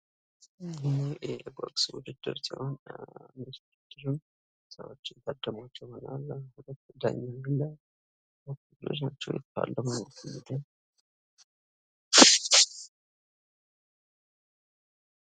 ይሄ የቦክስ ዉድድር ሲሆን በዚህ ዉድድርም ሰዎች የሚታደሙበት ዳኛ አለ።